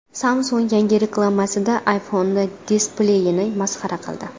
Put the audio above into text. Samsung yangi reklamasida iPhone displeyini masxara qildi.